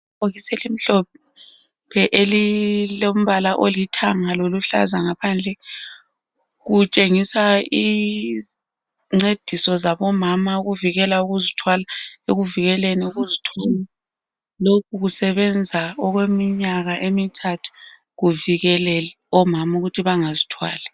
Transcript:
Ibhokisi elimhlophe elilombala olithanga loluhlaza ngaphandle. Kutshengisa izincediso zabomama ukuvikela ukuzithwala, ekuvikeleni ukuzithwala. Lokhu kusebenza okweminyaka emithathu kuvikela omama ukuthi bangazithwali.